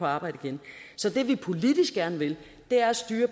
arbejde igen så det vi politisk gerne vil er at styre